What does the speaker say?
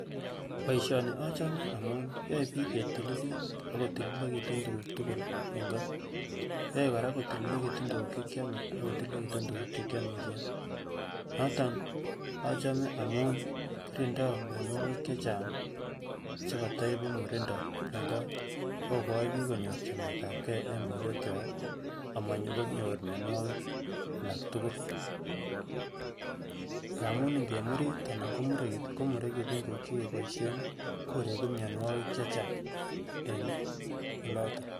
boisioni achome amun yoebiik ketililit ak kotililekitun tukuk tukul eng kot yoe kora kotililekitun tukuk chekyome akotililekitun tukuk chekyomisien noton achome amun kirindo mionwogik chechang chekotoibu murindo eng kot akokoi biik konyor chametabgee eng borwek kwak amonyokonyor mionwogik alaktukul amun ngemurit anan komurekitu komuekitun tukuk chekiboisyen koregu mionwogik chechang en oloton